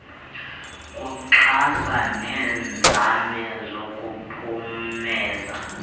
kuxhasa neenzame zokuphumeza